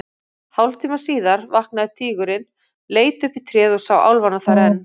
Hálftíma síðar vaknaði tígurinn, leit upp í tréð og sá álfana þar enn.